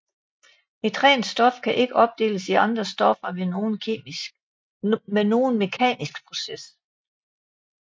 Et rent stof kan ikke opdeles i andre stoffer ved nogen mekanisk proces